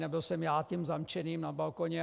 Nebyl jsem já tím zamčeným na balkoně.